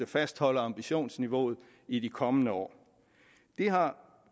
fastholde ambitionsniveauet i de kommende år det har